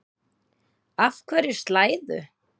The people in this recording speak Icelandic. Af hverju slæðu?